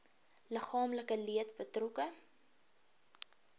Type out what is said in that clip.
liggaamlike leed betrokke